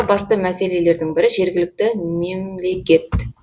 басты мәселелердің бірі жергілікті мемлекет